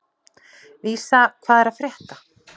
Vísa, hvað er að frétta?